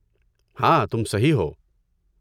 ہاں، تم صحیح ہو۔